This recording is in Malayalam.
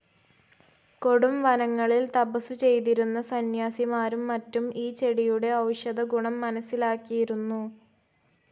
കൊടുംവനങ്ങളിൽ തപസ്സു ചെയ്തിരുന്ന സന്യാസിമാരും മറ്റും ഈ ചെടിയുടെ ഔഷധഗുണം മനസ്സിലാക്കിയിരുന്നു.